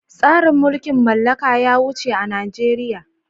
Tsarin mulkin mallaka ya wuce a Najeriya.